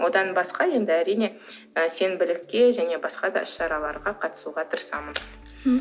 одан басқа енді әрине ы сенбілікке және басқа да іс шараларға қатысуға тырысамын м